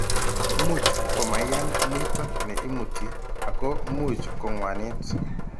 Much komaiyan muito ne imuti ako much ko ng'wanit.